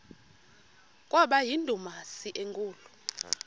kwaba yindumasi enkulu